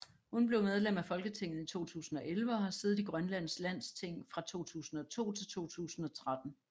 Hun blev medlem af Folketinget i 2011 og har siddet i Grønlands Landsting fra 2002 til 2013